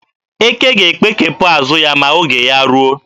Eke ga-ekpekepụ azụ ya ma oge ya ruo.